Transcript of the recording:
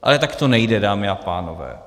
Ale tak to nejde, dámy a pánové.